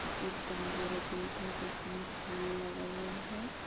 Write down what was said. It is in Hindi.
एक बोहोत बड़ा गेट है जिसमें फूल लगा हुआ है।